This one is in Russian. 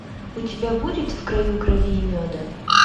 у тебя будет в краю крови и меда